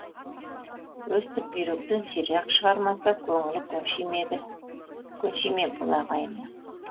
өстіп бүйректен сирақ шығармаса көңілі көнши ме бұл ағайынның